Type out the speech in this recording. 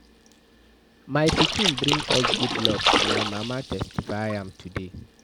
My pikin bring us good luck, my mama testify am today.